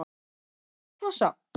Í heimsklassa?